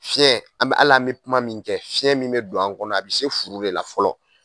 Fiɲɛ an bɛ al'an be kuma min kɛ fiɲɛ min be don an kɔnɔ a bi se furu de la fɔlɔ